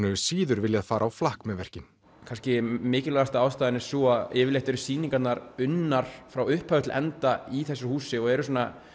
hefur síður viljað fara á flakk með verkið kannski mikilvægasta ástæðan er sú að yfirleitt eru sýningarnar unnar frá upphafi til enda í þessu húsi og eru